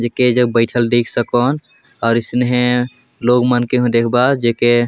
जेके एजक बइठल देख सकोन और इसने लोग मन के हु देखबा जेके--